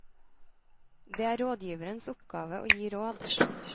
Det er rådgiverens oppgave å gi råd.